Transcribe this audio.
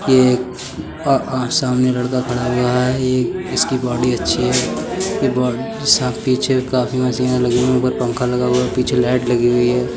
यह सामने लड़का खड़ा हुआ है। एक इसकी बॉडी अच्छी है। इसके पीछे काफी मशीनें लगी हुई हैं। ऊपर पंखा लगा हुआ है। पीछे लाइट लगी हुई हैं।